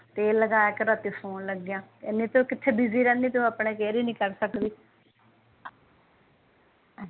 ਤੇਲ ਲਗਾਇਆ ਕਰ ਰਾਤੀ ਸੋਨ ਲਗੇਆ ਏਨੀ ਤੂੰ ਕਿਥੇ ਬਿਜ਼ੀ ਰਹਿੰਦੀ ਆਪਣੀ ਕੇਅਰ ਹੀ ਨੀ ਕਰ ਸਕਦੀ